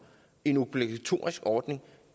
i en obligatorisk ordning